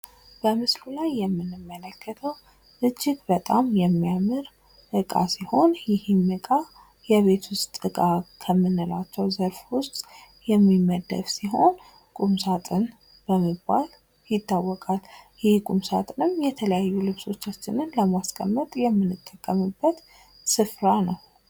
በምስሉ ላይ የምንመለከተው እጅግ በጣም የሚያምር ዕቃ ሲሆን ይህም ዕቃ ከቤት ዕቃ ከምንላቸው ዘርፎች ውስጥ የሚመደብ ሲሆን ቁም ሳጥን በመባል ይታወቃል። ይህ ቁም ሳጥን የተለያዩ ልብሶቻችንን ለማስቀመጥ የምንጠቀምበት ስፍራ ነው።